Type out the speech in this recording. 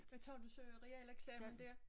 Men tager du så realeksamen dér?